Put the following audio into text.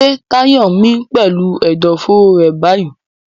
Ṣé Tayo ń mí pẹ̀lú ẹ̀dọ̀fóró rẹ̀ báyìí?